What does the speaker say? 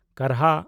ᱠᱟᱨᱦᱟ